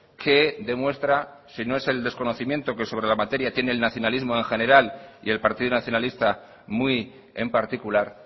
que demuestra si no es el desconocimiento que sobre la materia tiene el nacionalismo en general y el partido nacionalista muy en particular